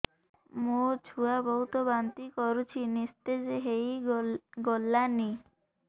ମୋ ଛୁଆ ବହୁତ୍ ବାନ୍ତି କରୁଛି ନିସ୍ତେଜ ହେଇ ଗଲାନି